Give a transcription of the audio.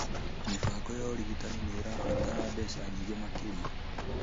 Mĩbango ya ũrigitani nĩ ĩrabatara mbeca nyingĩ makĩria.